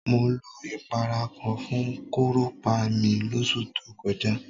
Mo lo ìpara kan fún kúrùpá mi lóṣù tó kọjá.